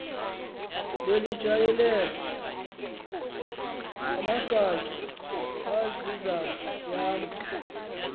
lelitshayelela amagatya azizayami